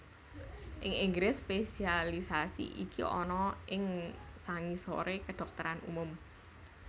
Ing Inggris spesialisasi iki ana ing sangisoré kedhokteran umum